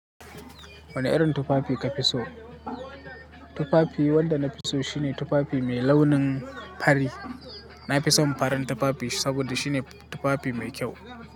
Wane irin tufafi ka fi so? Tufafi wanda na fi so shine tufafi mai launin fari. Na fi son farin tufafi saboda shine tufafi mai kyau.